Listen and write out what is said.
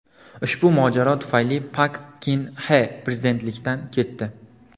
Ushbu mojaro tufayli Pak Kin Xe prezidentlikdan ketdi.